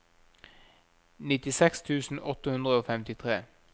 nittiseks tusen åtte hundre og femtitre